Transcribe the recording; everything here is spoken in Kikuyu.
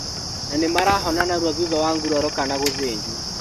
Na nĩmarahona narua thutha wa nguraro kana gũthĩnjwo